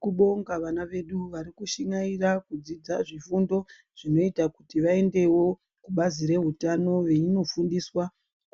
Tinobonga vana vedu varikushingaira kudzidza zvifundo zvinoita kuti vaendewo kubazi reutano veinofundiswa